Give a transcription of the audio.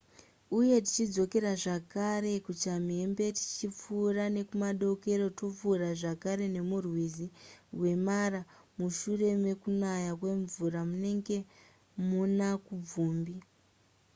uye tichidzokera zvakare kuchamhembe tichipfuura nekumadokero topfuura zvakare nemurwizi rwemara mushure mekunaya kwemvura munenge muna kubvumbi